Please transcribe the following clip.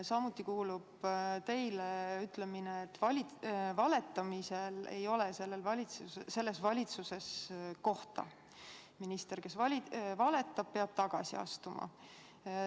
Samuti kuulub teile ütlemine, et valetamisel ei ole selles valitsuses kohta, minister, kes valetab, peab tagasi astuma.